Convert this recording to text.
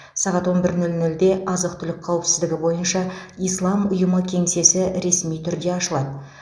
сағат он бір нөл нөлде азық түлік қауіпсіздігі бойынша ислам ұйымы кеңсесі ресми түрде ашылады